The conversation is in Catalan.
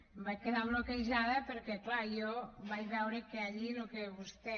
em vaig quedar bloquejada perquè clar jo vaig veure que allí el que vostè